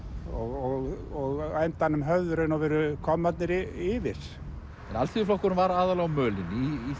og á endanum höfðu í raun og veru kommarnir yfir alþýðuflokkurinn var aðallega á mölinni í